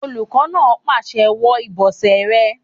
Olùkọ́ náà pàṣẹ "wọ ìbọ̀sẹ̀ rẹ!"